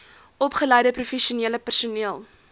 opgeleide professionele personeel